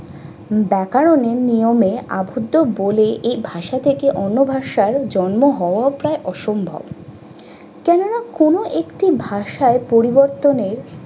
ব্যাকরণ এর নিয়মে আধুত বলে এই ভাষা থেকে অন্য ভাষার জন্ম হওয়াও প্রায় অসম্ভব। কেননা কোন একটি ভাষায় পরিবর্তনের